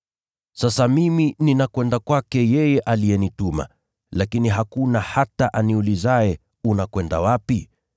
“Sasa mimi ninakwenda kwake yeye aliyenituma, lakini hakuna hata aniulizaye, ‘Unakwenda wapi?’